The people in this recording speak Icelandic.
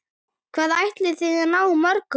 Hvað ætliði að ná mörgum?